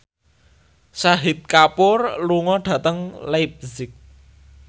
Shahid Kapoor lunga dhateng leipzig